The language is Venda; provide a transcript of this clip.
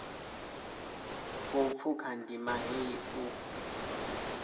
khou pfuka ndima heyi u